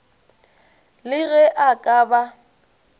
le ge a ka ba